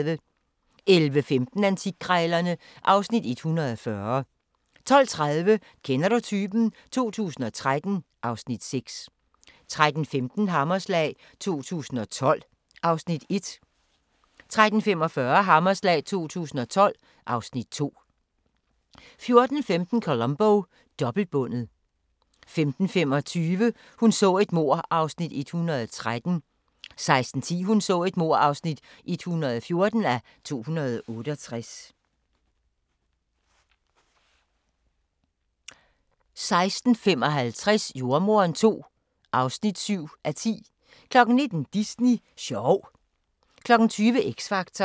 11:15: Antikkrejlerne (Afs. 140) 12:30: Kender du typen? 2013 (Afs. 6) 13:15: Hammerslag 2012 (Afs. 1) 13:45: Hammerslag 2012 (Afs. 2) 14:15: Columbo: Dobbeltbundet 15:25: Hun så et mord (113:268) 16:10: Hun så et mord (114:268) 16:55: Jordemoderen II (7:10) 19:00: Disney sjov 20:00: X Factor